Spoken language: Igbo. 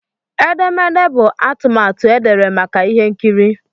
Edemede bụ atụmatụ edere maka ihe nkiri.